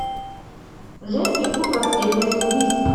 женский клуб расследований убийств